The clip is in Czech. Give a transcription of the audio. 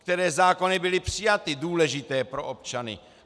Které zákony byly přijaty, důležité pro občany?